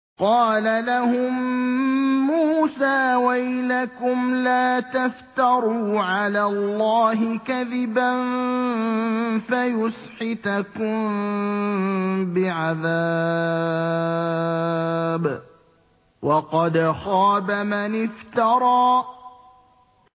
قَالَ لَهُم مُّوسَىٰ وَيْلَكُمْ لَا تَفْتَرُوا عَلَى اللَّهِ كَذِبًا فَيُسْحِتَكُم بِعَذَابٍ ۖ وَقَدْ خَابَ مَنِ افْتَرَىٰ